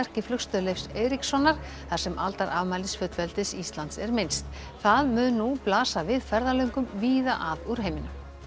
í Flugstöð Leifs Eiríkssonar þar sem aldarafmælis fullveldis Íslands er minnst það mun nú blasa við ferðalöngum víða að úr heiminum